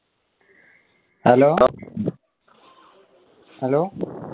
hello hello